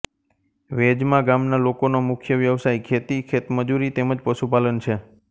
વેજમા ગામના લોકોનો મુખ્ય વ્યવસાય ખેતી ખેતમજૂરી તેમ જ પશુપાલન છે